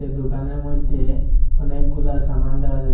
দোকানের মইদ্যে অনেকগুলা সামান দেখা যাচ্ছে।